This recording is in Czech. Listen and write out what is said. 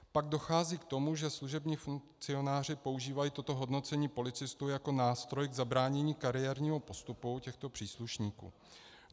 Pak dochází k tomu, že služební funkcionáři používají toto hodnocení policistů jako nástroj k zabránění kariérního postupu těchto příslušníků.